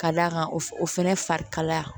Ka d'a kan o fɛnɛ farikalaya